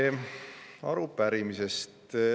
Nüüd arupärimisest.